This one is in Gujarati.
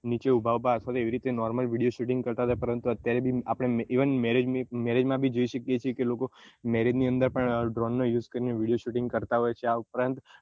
નીચે ઉભા ઉભા આશરે એવી રીતે normal video shooting કરતા હતા પરંતુ અત્યારે marriage માં બી જોઈ શકીએ છીએ કે લોકો marriage ની અંદર પણ drone નો use કરીને video shooting પણ કરતા હોય છે આ ઉપરાંત